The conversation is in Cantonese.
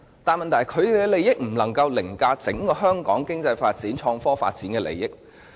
但問題是，他們的利益不能凌駕香港經濟發展和創科發展的整體利益。